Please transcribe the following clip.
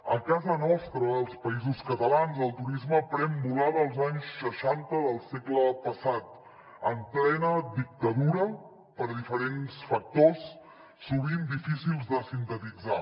a casa nostra als països catalans el turisme pren volada els anys seixanta del segle passat en plena dictadura per diferents factors sovint difícils de sintetitzar